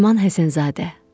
Nəriman Həsənzadə.